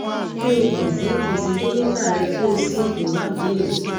ki o kan si kan si dokita rẹ ki o si iwadi eyi